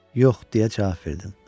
Yox, deyə cavab verdim.